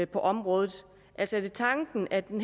på området altså er det tanken at den